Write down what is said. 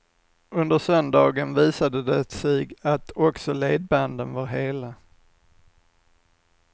Under söndagen visade det sig att också ledbanden var hela.